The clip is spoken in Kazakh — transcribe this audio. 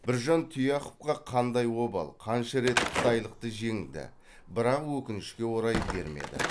біржан тұяқовқа қандай обал қанша рет қытайлықты жеңді бірақ өкінішке орай бермеді